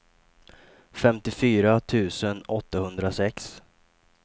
femtiofyra tusen åttahundrasex